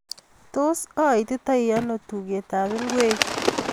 Tot aititono tuketab ingwek